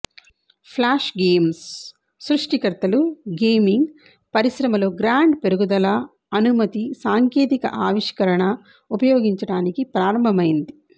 flash games సృష్టికర్తలు gaming పరిశ్రమలో grand పెరుగుదల అనుమతి సాంకేతిక ఆవిష్కరణ ఉపయోగించడానికి ప్రారంభమైంది